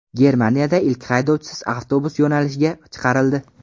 Germaniyada ilk haydovchisiz avtobus yo‘nalishga chiqarildi.